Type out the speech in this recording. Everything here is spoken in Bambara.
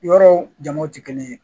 Yɔrɔw jamuw te kelen ye